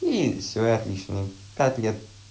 и всё и отлично им пять лет